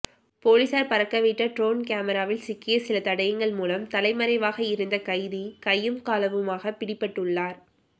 பொலிசார் பறக்கவிட்ட ட்ரோன் கமராவில் சிக்கிய சில தடயங்கள் மூலம் தலைமறைவாக இருந்த கைதி கையும் களவுமாக பிடிபட்டுள்ளார்